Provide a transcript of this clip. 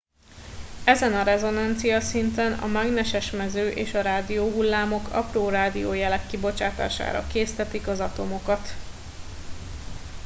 ezen a rezonanciaszinten a mágneses mező és a rádióhullámok apró rádiójelek kibocsátására késztetik az atomokat